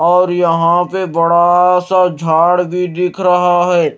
और यहां पे बड़ा सा झाड़ भी दिख रहा है।